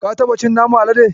Ka taba cin naman Alade?